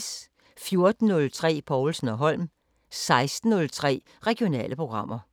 14:03: Povlsen & Holm 16:03: Regionale programmer